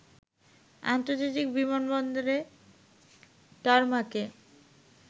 আন্তর্জাতিক বিমান বন্দরের টারমাকে